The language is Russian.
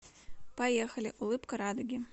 поехали улыбка радуги